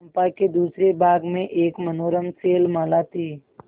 चंपा के दूसरे भाग में एक मनोरम शैलमाला थी